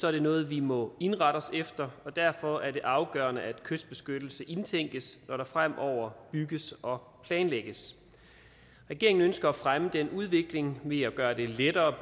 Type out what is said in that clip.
er det noget vi må indrette os efter derfor er det afgørende at kystbeskyttelse indtænkes når der fremover bygges og planlægges regeringen ønsker at fremme den udvikling ved at gøre det lettere